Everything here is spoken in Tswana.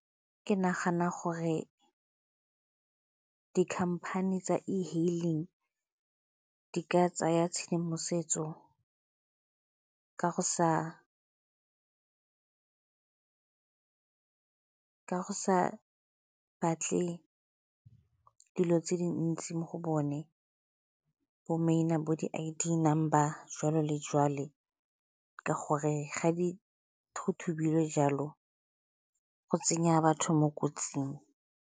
Ke nagana gore dikhamphane tsa e-hailing di ka tsaya tshedimosetso ka go sa batle dilo tse dintsi mo go bone bo maina bo di I_D number jwalo le jwale, ka gore ga di jalo go tsenya batho mo kotsing.